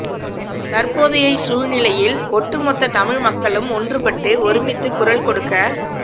தற்போதையை சூழ்நிலையில் ஒட்டுமொத்தத் தமிழ் மக்களும் ஒன்றுபட்டு ஒருமித்துக் குரல் கொடுக்க